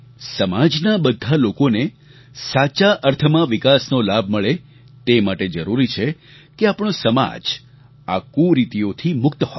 સમાજના બધા લોકોને સાચા અર્થમાં વિકાસનો લાભ મળે તે માટે જરૂરી છે કે આપણો સમાજ આ કુરીતિઓથી મુક્ત હોય